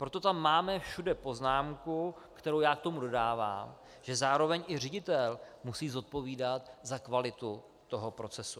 Proto tam máme všude poznámku, kterou já k tomu dodávám, že zároveň i ředitel musí zodpovídat za kvalitu toho procesu.